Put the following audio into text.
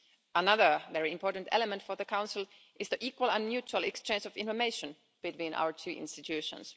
Another very important element for the Council is the equal and mutual exchange of information between our two institutions.